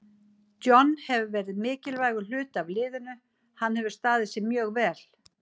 John hefur verið mikilvægur hluti af liðinu, hann hefur staðið sig mjög vel.